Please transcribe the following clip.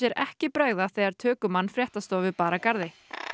ekki bregða þegar fréttastofu bar að garði